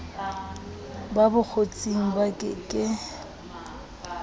ba bokgotsing ba ke ke